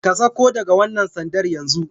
Ka sauko daga wannan sandar yanzu!